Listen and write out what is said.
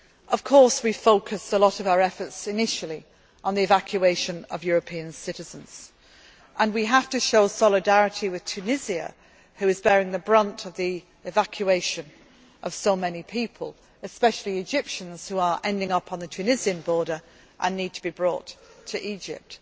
the situation. Of course, we focused a lot of our efforts initially on the evacuation of European citizens and we have to show solidarity with Tunisia, which is bearing the brunt of the evacuation of so many people, especially Egyptians who are ending up on the Tunisian border and need to be brought